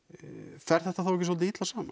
fer þetta þá ekki svolítið illa saman